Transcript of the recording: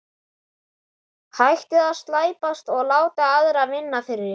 Hættið að slæpast og láta aðra vinna fyrir ykkur.